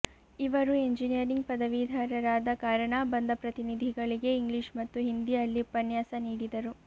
ಇವರು ಎಂಜಿನಿಯರಿಂಗ್ ಪದವೀಧರರಾದ ಕಾರಣ ಬಂದ ಪ್ರತಿನಿಧಿಗಳಿಗೆ ಇಂಗ್ಲಿಷ್ ಮತ್ತು ಹಿಂದಿಯಲ್ಲಿ ಉಪನ್ಯಾಸ ನೀಡಿದರು